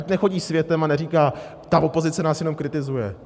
Ať nechodí světem a neříká: ta opozice nás jenom kritizuje.